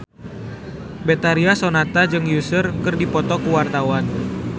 Betharia Sonata jeung Usher keur dipoto ku wartawan